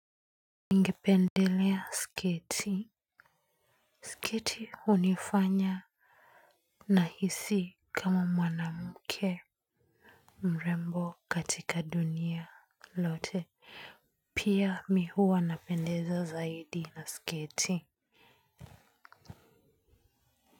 Ningependelea sketi, sketi hunifanya nahisi kama mwanamke mrembo katika dunia lote. Pia mimi huwa napendeza zaidi na sketi.